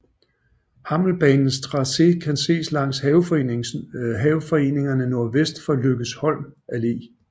Hammelbanens tracé kan ses langs haveforeningerne nordvest for Lykkesholms Alle